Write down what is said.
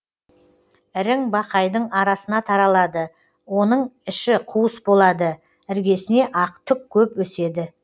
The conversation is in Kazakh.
ірің бақайдың арасына таралады оның іші қуыс болады іргесіне ақ түк көп өседі